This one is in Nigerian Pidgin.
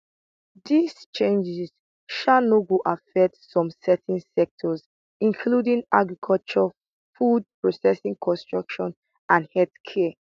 dis changes sha no go affect some certain sectors including agriculture food processing construction and healthcare